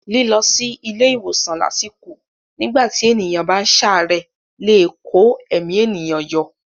Lílọ sí ilé ìwòsàn lásìkò nígbà tí ènìyàn bá ń ṣàárẹ̀ lè kó ẹ̀mí ènìyàn yọ.